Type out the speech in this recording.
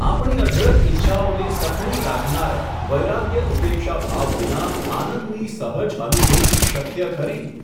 આપણી અઢળક ઈચ્છાઓને સખણી રાખનારા, વૈરાગ્ય ઉપેક્ષાભાવ વિના, આનંદની સહજ અનુભૂતિ શક્ય ખરી ?.